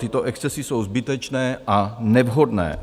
Tyto excesy jsou zbytečné a nevhodné.